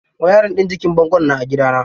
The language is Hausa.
Wayarin ɗin jikin bango na a gidana.